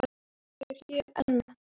En ég er hér enn.